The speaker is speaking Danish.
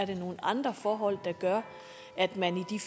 det er nogle andre forhold der gør at man i